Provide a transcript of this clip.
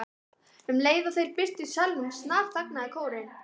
Um leið og þeir birtust í salnum snarþagnaði kórinn.